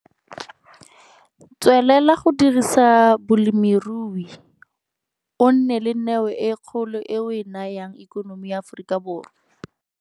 Tswelela go dirisa bolemirui, o na le neo e kgolo e o e nayang ekonomi ya Afrikaborwa!